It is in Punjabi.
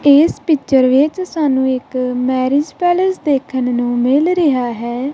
ਇਸ ਪਿਚਰ ਵਿੱਚ ਸਾਨੂੰ ਇੱਕ ਮੈਰਿਜ ਪੈਲੇਸ ਦੇਖਣ ਨੂੰ ਮਿਲ ਰਿਹਾ ਹੈ।